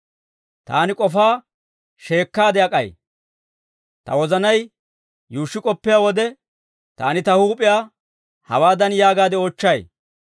Taani k'ofaa sheekkaade ak'ay; ta wozanay yuushshi k'oppiyaa wode, Taani ta huup'iyaa hawaadan yaagaade oochchay;